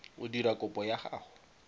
o dira kopo ya gago